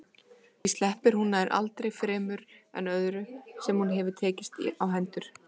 Því sleppir hún nær aldrei fremur en öðru sem hún hefur tekist á hendur.